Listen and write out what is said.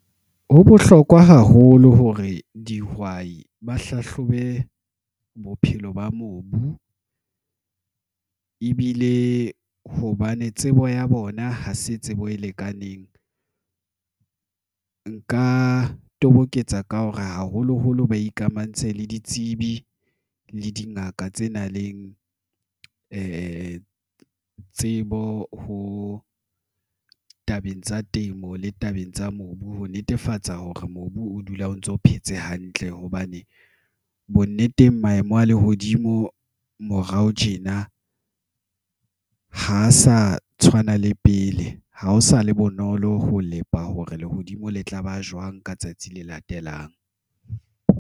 Ho bohlokwa haholo hore dihwai ba hlahlobe bophelo ba mobu, ebile hobane tsebo ya bona ha se tsebo e lekaneng. Nka toboketsa ka hore haholoholo ba ikamahantse le ditsebi le dingaka tse nang le tsebo tabeng tsa temo le tabeng tsa mobu ho netefatsa hore mobu o dula o ntso phetse hantle hobane bonneteng, maemo a lehodimo morao tjena ha sa tshwana le pele ha ho sa le bonolo ho lelapa hore lehodimo le tlaba jwang ka tsatsi le latelang.